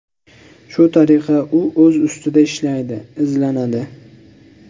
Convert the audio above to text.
Shu tariqa u o‘z ustida ishlaydi, izlanadi.